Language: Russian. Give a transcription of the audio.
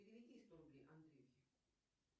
переведи сто рублей андрюхе